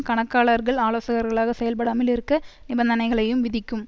கணக்காளர்கள் ஆலோசகர்களாக செயல்படாமலிருக்க நிபந்தனைகளையும் விதிக்கும்